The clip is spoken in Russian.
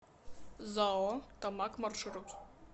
зао томаг маршрут